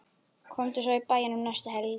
Komdu svo í bæinn um næstu helgi.